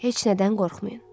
Heç nədən qorxmayın.